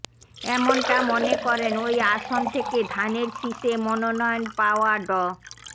এমনটা মনে করেন ওই আসন থেকে ধানের শীষে মনোনয়ন পাওয়া ড